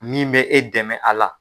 Min bɛ e dɛmɛ a la.